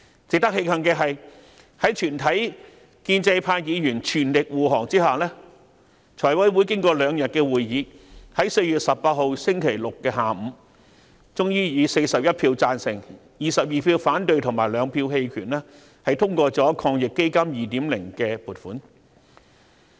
值得慶幸的是，在全體建制派議員全力護航下，財務委員會經過兩天會議，在4月18日星期六下午，終於以41票贊成、22票反對及2票棄權，通過抗疫基金 2.0 的撥款。